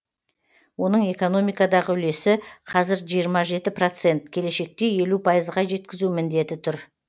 оның экономикадағы үлесі қазір жиырма жеті процент келешекте елу пайызға жеткізу міндеті тұр